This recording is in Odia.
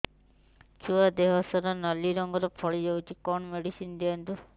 ଛୁଆ ଦେହ ସାରା ନାଲି ରଙ୍ଗର ଫଳି ଯାଇଛି କଣ ମେଡିସିନ ଦିଅନ୍ତୁ